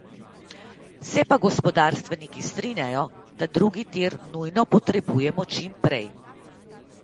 Se pa gospodarstveniki strinjajo, da drugi tir nujno potrebujemo čim prej.